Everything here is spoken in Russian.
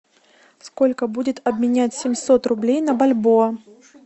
сколько будет обменять семьсот рублей на бальбоа